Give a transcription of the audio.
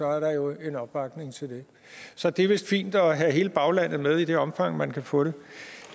er der jo en opbakning til det så det er vist fint at have hele baglandet med i det omfang man kan få det